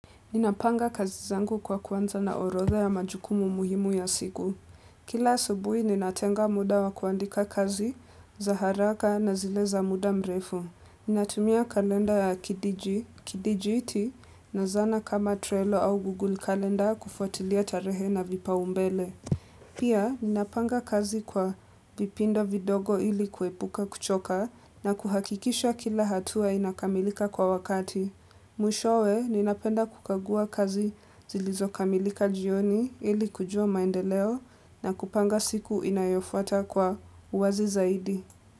Ninapanga kazi zangu kwa kuanza na orodha ya majukumu muhimu ya siku. Kila asubuhi ninatenga muda wa kuandika kazi za haraka na zile za muda mrefu. Ninatumia kalenda ya kidiji, kidijiti na zana kama Trello au Google kalenda kufuatilia tarehe na vipaumbele. Pia ninapanga kazi kwa vipindo vidogo ili kuepuka kuchoka na kuhakikisha kila hatua inakamilika kwa wakati. Mwishowe, ninapenda kukagua kazi zilizokamilika jioni ili kujua maendeleo na kupanga siku inayofuata kwa uwazi zaidi.